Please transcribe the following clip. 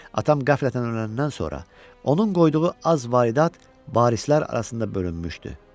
Atam qəflətən öləndən sonra onun qoyduğu az varidat varislər arasında bölünmüşdü.